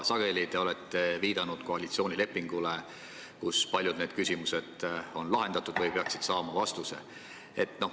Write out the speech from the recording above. Te olete sageli viidanud koalitsioonilepingule, kus paljud need küsimused on lahendatud või peaksid vastuse saama.